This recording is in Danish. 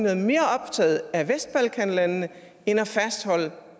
er mere optaget af vestbalkanlandene end af at fastholde